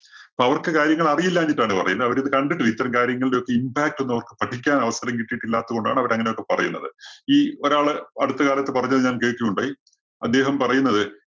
അപ്പോ അവർക്ക് കാര്യങ്ങൾ അറിയില്ലാഞ്ഞിട്ടാണ് പറയുന്നത്. അവരിത് കണ്ടിട്ടില്ല ഇത്തരം കാര്യങ്ങളുടെ ഒക്കെ impact ഒന്നും അവര്‍ക്ക് പഠിക്കാന്‍ അവസരം കിട്ടിയില്ലാത്തത് കൊണ്ടാണ് അവര് അങ്ങനെയൊക്കെ പറയുന്നത്. ഈ ഒരാള് അടുത്ത കാലത്ത് പറഞ്ഞത് ഞാന്‍ കേട്ടിട്ടുണ്ട്. അദ്ദേഹം പറയുന്നത്